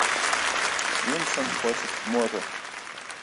винсент хочет к морю